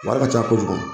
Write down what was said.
Wari ka ca kojugu